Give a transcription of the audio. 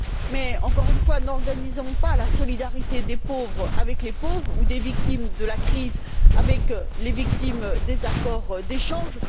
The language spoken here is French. Mais, encore une fois, n'organisons pas la solidarité des pauvres avec les pauvres ou des victimes de la crise avec les victimes des accords d'échanges.